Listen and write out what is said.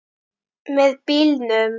Með bílnum.